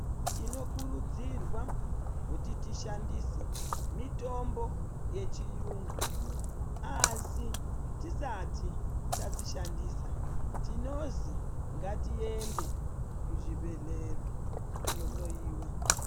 Tinokudzirwa kuti tishandise mitombo yechiyungu asi risati tadzishandisa tinozi ngatiende kuzvibhehlera kunohloiwa.